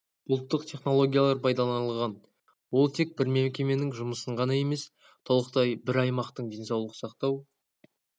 бұлттық технологиялар пайдаланылған ол тек бір мекеменің жұмысын ғана емес толықтай бір аймақтың денсаулық сақтау